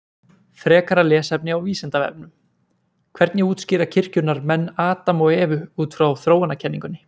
Frekara lesefni á Vísindavefnum: Hvernig útskýra kirkjunnar menn Adam og Evu út frá þróunarkenningunni?